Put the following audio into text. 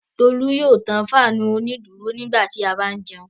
Tolú yóò tan fáánù onídùúró nígbà tí a bá ń jẹun.